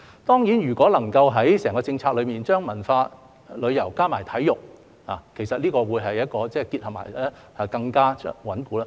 當然，如果能夠在整項政策中，將文化、旅遊加上體育，這個結合會更加穩固。